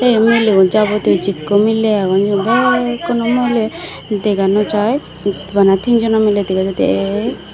ei miligun jabotiyo jikko miley agon igun bekkuno muoni dega naw jai bana tinjono miley dega jaidey ek.